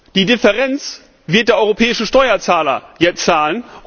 Die Differenz wird der europäische Steuerzahler jetzt zahlen.